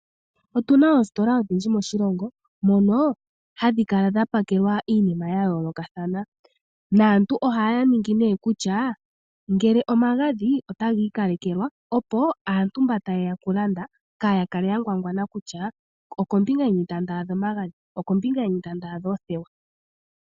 Otu na oositola odhindji moshilongo mono hamu kala mwa pakelwa iinima oyindji ya yoolokathana naantu ohaya ningi nduno kutya ngele omagadhi otaga ikalekelwa, opo aantu mba taye ya okulanda kaaya kale ya ngwangwana kutya okombinga yini ta adha omagadhi nenge oothewa.